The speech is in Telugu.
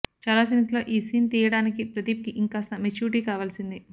చాలా సీన్స్ లో ఈ సీన్ తీయడానికి ప్రదీప్ కి ఇంకాస్త మెచ్యూరిటీ కావాల్సింది